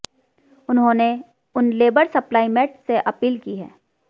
उन्होंने उन labour supply mate से अपील की है